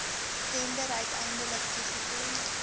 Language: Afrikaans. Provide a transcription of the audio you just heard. tender uiteindelik toegeken